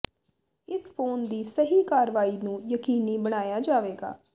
ਇਸ ਫੋਨ ਦੀ ਸਹੀ ਕਾਰਵਾਈ ਨੂੰ ਯਕੀਨੀ ਬਣਾਇਆ ਜਾਵੇਗਾ